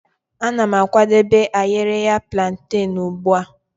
Ana m akwadebe ayereya plantane ugbu a.